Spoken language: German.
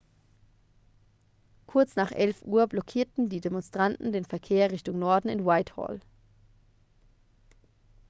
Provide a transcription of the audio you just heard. kurz nach 11.00 uhr blockierten die demonstranten den verkehr richtung norden in whitehall